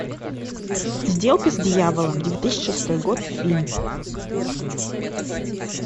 сделка с дьяволом две тысячи шестой год фильм